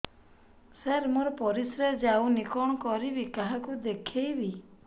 ସାର ମୋର ପରିସ୍ରା ଯାଉନି କଣ କରିବି କାହାକୁ ଦେଖେଇବି